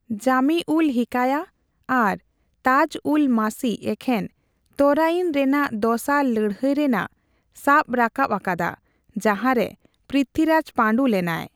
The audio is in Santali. ᱡᱟᱹᱢᱤᱼᱩᱞᱼᱦᱤᱠᱟᱭᱟ ᱟᱨ ᱛᱟᱡᱽᱼᱩᱞᱼᱢᱟᱥᱤ ᱮᱠᱷᱮᱱ ᱛᱚᱨᱟᱭᱤᱱ ᱨᱮᱱᱟᱜ ᱫᱚᱥᱟᱨ ᱞᱟᱹᱲᱦᱟᱹᱭ ᱨᱮᱱᱟᱜ ᱥᱟᱵ ᱨᱟᱠᱟᱵ ᱟᱠᱟᱫᱟ, ᱡᱟᱸᱦᱟᱨᱮ ᱯᱤᱨᱤᱛᱦᱤᱨᱟᱡᱽ ᱯᱟᱸᱰᱩ ᱞᱮᱱᱟᱭ ᱾